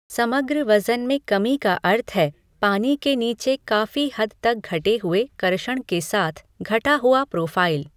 समग्र वजन में कमी का अर्थ है पानी के नीचे काफ़ी हद तक घटे हुए कर्षण के साथ घटा हुआ प्रोफाइल।